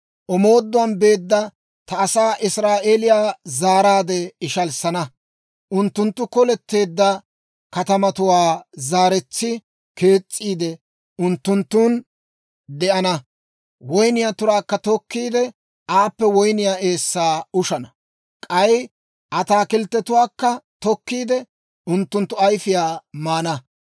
Omooduwaan beedda ta asaa Israa'eeliyaa zaaraade ishalissana. Unttunttu koletteedda katamatuwaa zaaretsi kees's'iide, unttunttun de'ana. Woynniyaa turaakka tokkiide, aappe woyniyaa eessaa ushana. K'ay ataakilttetuwaakka tokkiide, unttunttu ayfiyaa maana.